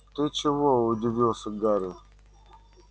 ты чего удивился гарри